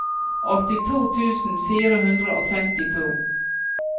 åttito tusen fire hundre og femtito